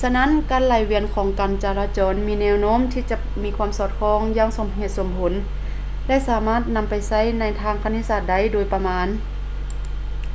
ສະນັ້ນ ການໄຫຼວຽນຂອງການຈະລາຈອນມີແນວໂນ້ມທີ່ຈະມີຄວາມສອດຄ່ອງຢ່າງສົມເຫດສົມຜົນ ແລະ ສາມາດນໍາໄປໃຊ້ໃນທາງຄະນິດສາດໄດ້ໂດຍປະມານ